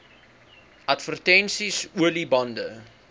advertensies olie bande